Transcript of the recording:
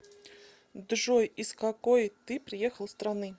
джой из какой ты приехал страны